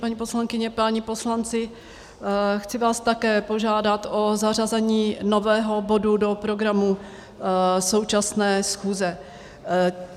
Paní poslankyně, páni poslanci, chci vás také požádat o zařazení nového bodu do programu současné schůze.